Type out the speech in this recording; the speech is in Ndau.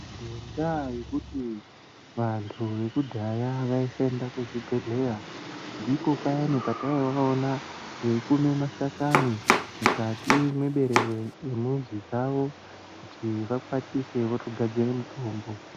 Ngenda yekuti vantu vekudhaya vaisaenda kuzvibhedhlera ndipo payani pataivaona veikume mashakani mukati meberere remuzi dzavo kuti vakwatise votogadzire mitombo.